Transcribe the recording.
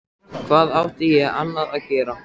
Hvað átti ég annað að gera?